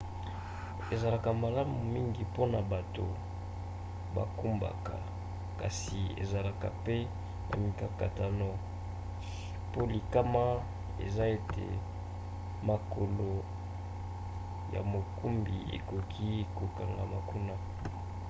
ezalaka malamu mingi mpona bato bakumbaka kasi ezalaka pe na mikakatano po likama eza ete makolo ya mokumbi ekoki kokangama kuna